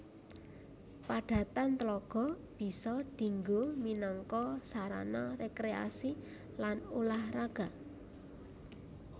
Padatan tlaga bisa dinggo minangka sarana rekreasi lan ulah raga